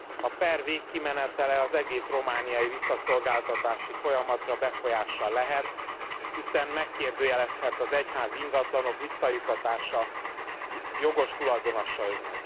A per végkimenetele az egész romániai visszaszolgáltatási folyamatra befolyással lehet, hiszen megkérdőjeleződhet az egyházi ingatlanok visszajuttatása jogos tulajdonosaiknak.